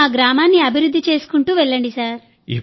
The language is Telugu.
మీరు మా గ్రామాన్ని అభివృద్ధి చేసుకుంటూ వెళ్లండి